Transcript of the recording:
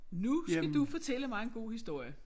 Nu skal du fortælle mig en god historie